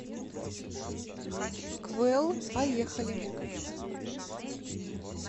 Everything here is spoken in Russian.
квэл поехали